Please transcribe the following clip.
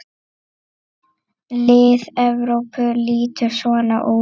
Lið Evrópu lítur svona út